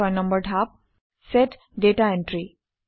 ৬ নম্বৰ ধাপ - set data entry